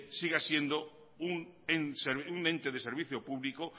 siga siendo un ente de servicio público